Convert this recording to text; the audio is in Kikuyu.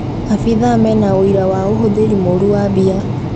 Abitha mena ũira wa ũhũthĩri mũũru wa mbia